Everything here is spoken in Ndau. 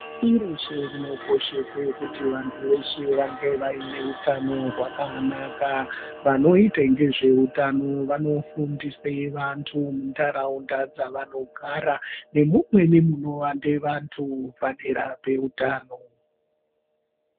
Pashi reshe rinokoshese kuti vandhu veshe vange vaine utano hwakanaka. Vanoite ngezve utano vanofundise vantu muntaraunda dzavanogara nemumweni munowande vantu padera peutano.